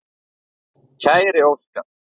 Kæri Óskar.